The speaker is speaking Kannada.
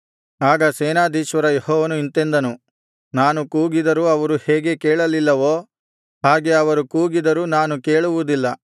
ಆಗ ಸೇನಾಧೀಶ್ವರ ಯೆಹೋವನು ಇಂತೆಂದನು ನಾನು ಕೂಗಿದರೂ ಅವರು ಹೇಗೆ ಕೇಳಲಿಲ್ಲವೋ ಹಾಗೆ ಅವರು ಕೂಗಿದರೂ ನಾನು ಕೇಳುವುದಿಲ್ಲ